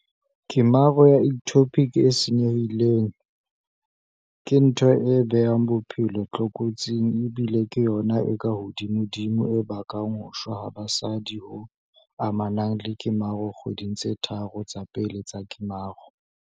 Kemaro ya ectopic e senye-hileng, ke ntho e beang bophelo tlokotsing ebile ke yona e kahodimodimo e bakang ho shwa ha basadi ho amanang le kemaro dikgweding tse tharo tsa pele tsa kemaro.